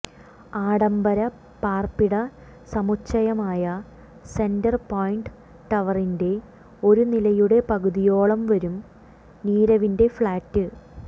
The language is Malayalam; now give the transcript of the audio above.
ആഡംബര പാർപ്പിടസമുച്ചയമായ സെന്റർ പോയിൻറ് ടവറിന്റെ ഒരു നിലയുടെ പകുതിയോളംവരും നീരവിന്റെ ഫ്ലാറ്റ്